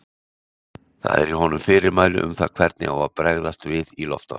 Það eru í honum fyrirmæli um það hvernig á að bregðast við í loftárás!